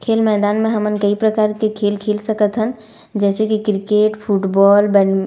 खेल मैदान में हमन दुय प्रकार के खेल - खेल सकथन जैसे की क्रिकेट फुटबॉल बन --